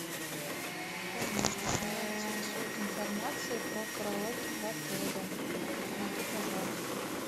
меня интересует информация про караоке в отеле помоги пожалуйста